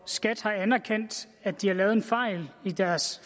skat har anerkendt at de har lavet en fejl i deres